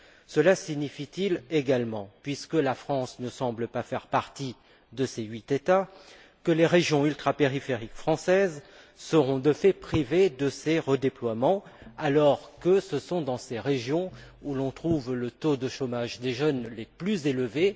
Cela signifie t il, également, puisque la France ne semble pas faire partie de ces huit États, que les régions ultrapériphériques françaises seront, de fait, privées de ces redéploiements, alors que c'est dans ces régions que l'on trouve le taux de chômage des jeunes le plus élevé.